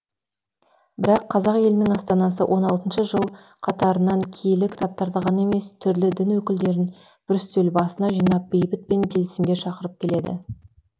бірақ қазақ елінің астанасы он алтыншы жыл қатарынан киелі кітаптарды ғана емес түрлі дін өкілдерін бір үстел басына жинап бейбіт пен келісімге шақырып келеді